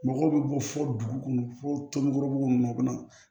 Mɔgɔw bɛ bɔ fo dugu kɔnɔ fo tomɔku ninnu na u bɛ na